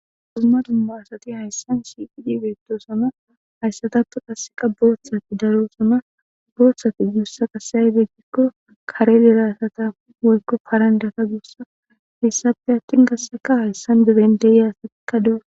Huzuma duuma asati hayssan sifi dibetosama hayssataptu qasseqa boothsati daro sama boothsati guussa qasaybe gikko karelleraasata woyko parandata guussa lissafe attin gasseka hayssan dibendeya asatikka dooa.